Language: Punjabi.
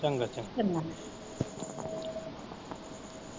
ਚੰਗਾ ਚੰਗਾ।